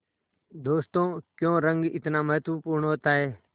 दोस्तों क्यों रंग इतना महत्वपूर्ण होता है